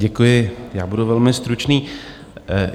Děkuji, já budu velmi stručný.